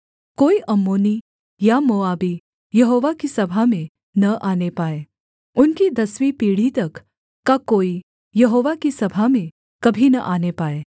कोई अम्मोनी या मोआबी यहोवा की सभा में न आने पाए उनकी दसवीं पीढ़ी तक का कोई यहोवा की सभा में कभी न आने पाए